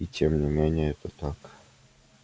и тем не менее это так